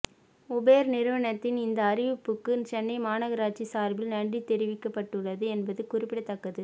Uber நிறுவனத்தின் இந்த அறிவிப்புக்கு சென்னை மாநகராட்சி சார்பில் நன்றி தெரிவிக்கப்பட்டுள்ளது என்பது குறிப்பிடத்தக்கது